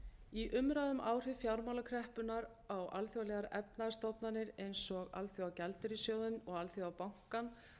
í umræðu um áhrif fjármálakreppunnar á alþjóðlegar efnahagsstofnanir eins og alþjóðagjaldeyrissjóðinn og alþjóðabankann var lögð